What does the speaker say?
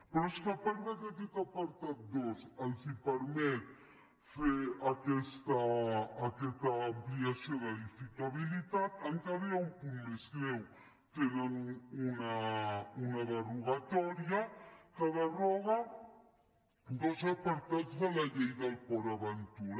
però és que a part que aquest apartat dos els permet fer aquesta ampliació d’edificabilitat encara hi ha un punt més greu tenen una derogatòria que deroga dos apartats de la llei de port aventura